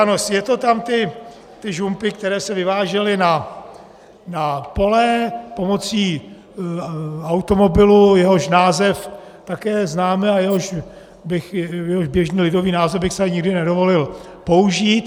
Ano, je to tam - ty žumpy, které se vyvážely na pole pomocí automobilu, jehož název také známe a jehož běžný lidový název bych si tady nikdy nedovolil použít.